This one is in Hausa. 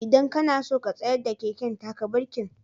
Idan ka na so ka tsayar da keken, taka birkin.